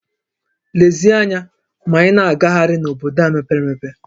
Lezie anya ma ị na-agagharị n'obodo a mepere emepe!